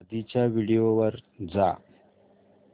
आधीच्या व्हिडिओ वर जा